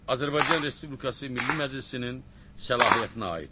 Azərbaycan Respublikası Milli Məclisinin səlahiyyətinə aiddir.